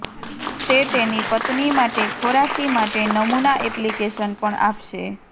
તે તેની પત્ની માટે ખોરાકી માટે નમૂના એપ્લિકેશન પણ આપશે